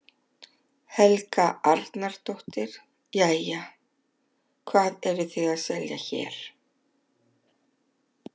Helga Arnardóttir: Jæja, hvað eruð þið að selja hér?